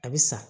A bɛ sa